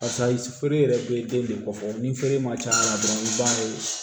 Karisa i feere yɛrɛ bɛ den de kofɔ ni feere ma ca la dɔrɔn i b'a ye